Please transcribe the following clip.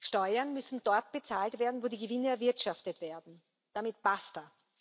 Steuern müssen dort bezahlt werden, wo die Gewinne erwirtschaftet werden. Damit basta!